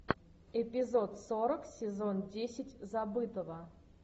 эпизод сорок сезон десять забытого